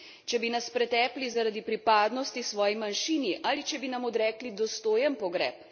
Če bi nas pretepli zaradi pripadnosti svoji manjšini ali če bi nam odrekli dostojen pogreb.